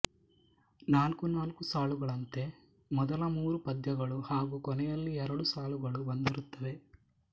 ನಾಲ್ಕು ನಾಲ್ಕು ಸಾಲುಗಳಂತೆ ಮೊದಲ ಮೂರು ಪದ್ಯಗಳು ಹಾಗೂ ಕೊನೆಯಲ್ಲಿ ಎರಡು ಸಾಲುಗಳು ಬಂದಿರುತ್ತವೆ